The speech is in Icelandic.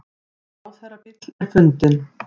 Ráðherrabíll er fundinn